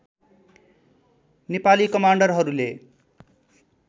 Nepali कमान्डरहरूले